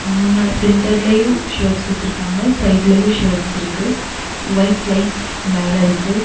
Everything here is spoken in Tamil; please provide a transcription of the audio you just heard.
முன்னா சென்டர்லயு ஷர்ட்ஸ் வெச்சுருக்காங்க சைட்லயு ஷர்ட்ஸ் இருக்கு வைட் லைட்ஸ் மேல இருக்கு.